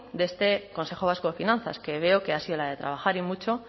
de este consejo vasco de finanzas que veo que ha sido la de trabajar y mucho